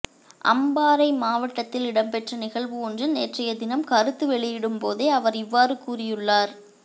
அம்பாறை மாவட்டத்தில் இடம்பெற்ற நிகழ்வு ஒன்றில் நேற்றைய தினம் கருத்து வெளியிடும் போதே அவர் இவ்வாறு கூறியுள்ளார்